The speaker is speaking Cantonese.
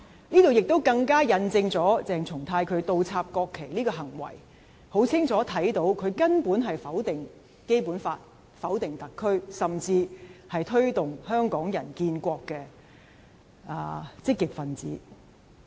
這進一步印證，從鄭松泰倒插國旗的行為，可以清楚看到他根本是否定《基本法》，否定特區，甚至是推動香港人建國的積極分子。